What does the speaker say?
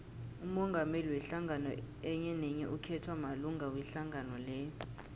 umongameli wehlangano enyenenye ukhethwa malunga wehlangano leyo